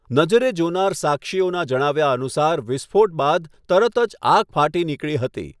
નજરે જોનાર સાક્ષીઓના જણાવ્યા અનુસાર વિસ્ફોટ બાદ તરત જ આગ ફાટી નીકળી હતી.